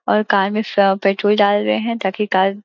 और कार में स पट्रोल डाल रहे है ताकि कार --